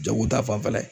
Jago ta fanfɛla ye